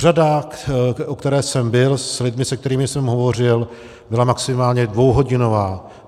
Řada, u které jsem byl, s lidmi, se kterými jsem hovořil, byla maximálně dvouhodinová.